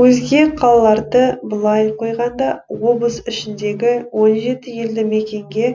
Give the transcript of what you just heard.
өзге қалаларды былай қойғанда облыс ішіндегі он жеті елді мекенге